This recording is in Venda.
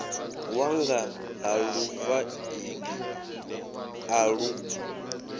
wanga ha lufaṱinga a lu